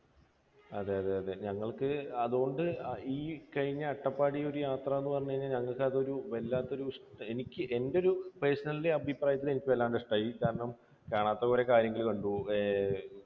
അതെയതെ. ഞങ്ങൾക്ക് അതുകൊണ്ട് ഈ കഴിഞ്ഞ അട്ടപ്പാടി ഒരു യാത്ര എന്ന് പറഞ്ഞു കഴിഞ്ഞാൽ ഞങ്ങൾക്ക് അതൊരു വല്ലാത്ത ഒരു എനിക്ക് എൻറെ ഒരു personal അഭിപ്രായത്തിൽ എനിക്ക് വല്ലാതെ ഇഷ്ടമായി. കാരണം കാണാത്ത കുറേ കാര്യങ്ങൾ കണ്ടു, ഏർ